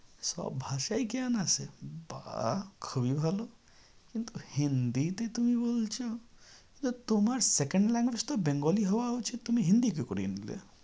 সব ভাষায় জ্ঞান আছে বাহ খুবই ভালো কিন্তু hindi তে তুমি বলছো তো তোমার second language তো bengali হওয়া উচিত তুমি hindi কি করে নিলে?